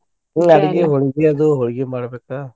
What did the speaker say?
ಹ್ಮ್ ಅಡ್ಗಿ ಹೊಳ್ಗಿ ಅದು ಹೊಳ್ಗಿ ಮಾಡ್ಬೇಕ.